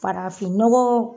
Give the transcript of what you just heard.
Farafin nɔgɔ